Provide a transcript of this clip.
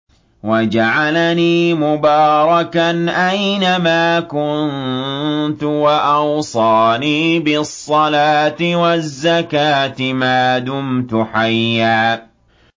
وَجَعَلَنِي مُبَارَكًا أَيْنَ مَا كُنتُ وَأَوْصَانِي بِالصَّلَاةِ وَالزَّكَاةِ مَا دُمْتُ حَيًّا